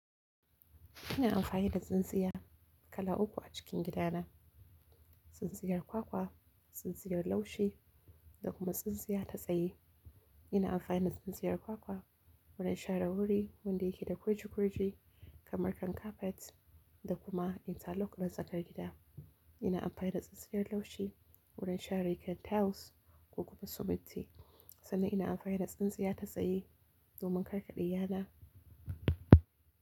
Ina amfani da tsintsiya kala uku a cikin gidana: tsintsiyar kwakwa, tsintsiyar laushi da kuma tsintsiya ta tsaye. Ina amfani da tsintsiyar kwakwa wajen share wuri wanda yake da kurji kurji kamar kan kafet da kuma interlock na tsakar gida. Ina amfani da tsintsiyar laushi wajen share kan tiles ko kuma siminti sannan ina amfani da tsintsiya ta tsaye zuwa karkaɗe yana.